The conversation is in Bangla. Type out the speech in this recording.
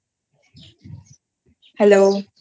Hello